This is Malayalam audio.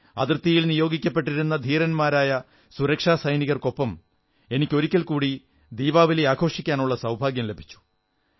അതിർത്തിയിൽ നിയോഗിക്കപ്പെട്ടിരിക്കുന്ന ധീരരായ സുരക്ഷാസൈനികർക്കൊപ്പം എനിക്ക് ഒരിക്കൽകൂടി ദീപാവലി ആഘോഷിക്കാനുള്ള സൌഭാഗ്യം ലഭിച്ചു